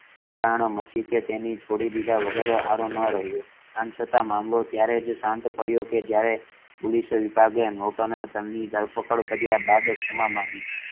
બુમરાણ મચી કે તેને છોડી દીધા વગર આરો ના રહીયો આમ છતાં મામલો ત્યારેજ શાંત પડ્યો કે જયારે પોલીસે એ વિભાગ નોર્ટન ધન ની ધરપકડ કાર્ય બાદ અજ ક્ષમા માંગી